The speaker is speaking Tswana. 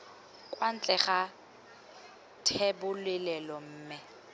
kwa ntle ga thebolelo mme